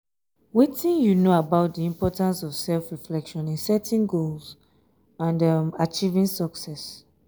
wetin you know about di importance of self-reflection in setting goals um and achieving success?